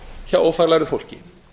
hjá ófaglærðu fólki